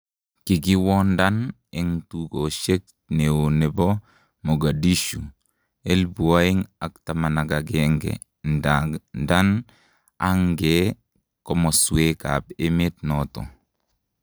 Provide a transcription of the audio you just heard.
kikiwondan en tukoshek neo nepo magadishu 2011 ndadan angee komoswek ap emet naton